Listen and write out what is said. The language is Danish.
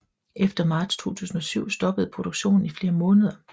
Efter marts 2007 stoppede produktionen i flere måneder